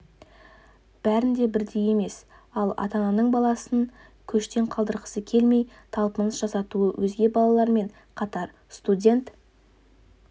бәрінде бірдей емес ал ата-ананың баласын көштен қалдырғысы келмей талпыныс жасатуы өзге балалармен қатар студент